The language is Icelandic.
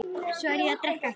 Svo að ég drekk ekki.